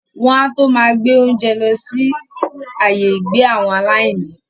wọn á tó máa gbé oúnjẹ lọsí awọn “ ààyè ìgbé àwọn aláìní ”.